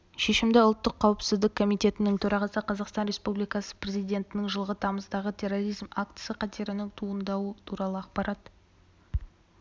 шешімді ұлттық қауіпсіздік комитетінің төрағасы қазақстан республикасы президентінің жылғы тамыздағы терроризм актісі қатерінің туындауы туралы ақпарат